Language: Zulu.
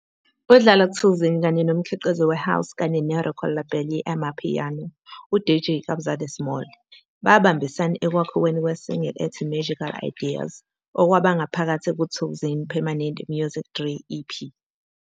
UDlala Thukzin kanye nomkhiqizi we-house kanye ne-record label ye-amapiano, uDJ Kabza De Small, babambisana ekwakhiweni kwe-single ethi "Magical Ideas" okwaba ngaphakathi ku-Thukzin's, Permanent Music 3, EP.